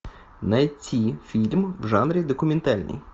найти фильм в жанре документальный